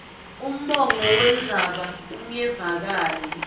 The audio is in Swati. umongo wendzaba ungevakali